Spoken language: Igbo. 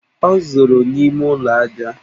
O zoro n'ime ụlọ ajá!